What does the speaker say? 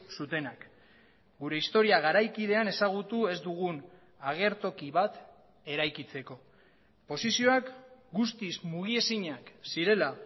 zutenak gure historia garaikidean ezagutu ez dugun agertoki bat eraikitzeko posizioak guztiz mugiezinak zirela